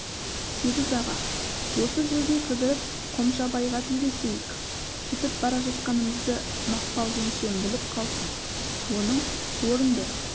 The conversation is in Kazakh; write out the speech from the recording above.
сегіз аға осы жерде кідіріп қомшабайға тілдесейік кетіп бара жатқанымызды мақпал жеңешем біліп қалсын оның орынды